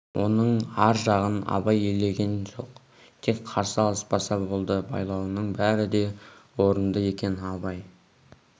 оның ар жағын абай елеген жоқ тек қарсы алыспаса болды байлауының бәрі де орынды екен абай